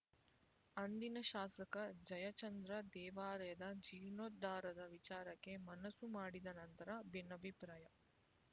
ಅಂದಿನ ಶಾಸಕ ಜಯಚಂದ್ರ ದೇವಾಲಯದ ಜೀರ್ಣೋದ್ಧಾರದ ವಿಚಾರಕ್ಕೆ ಮನಸ್ಸು ಮಾಡಿದ ನಂತರ ಭಿನ್ನಾಭಿಪ್ರಾಯ